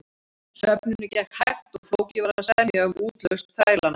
Söfnunin gekk hægt og flókið var að semja um útlausn þrælanna.